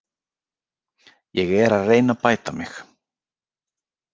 Ég er að reyna að bæta mig.